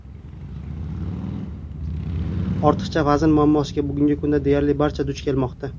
Ortiqcha vazn muammosiga bugungi kunda deyarli barcha duch kelmoqda.